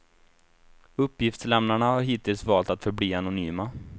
Uppgiftslämnarna har hittills valt att förbli anonyma.